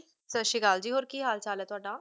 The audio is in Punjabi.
ਸੱਤ ਸ਼੍ਰੀ ਅਕਾਲ ਜੀ ਹੋਰ ਕਿ ਹਾਲ ਚਾਲ ਹੈ ਤੁਹਾਡਾ?